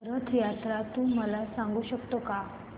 रथ जत्रा तू मला सांगू शकतो का